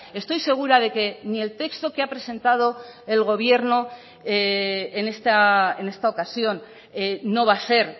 estoy segura de que ni el texto que ha presentado el gobierno en esta ocasión no va a ser